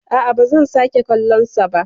A'a, ba zan sake kallon sa ba.